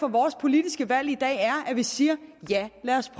at vores politiske valg i dag er at vi siger ja lad os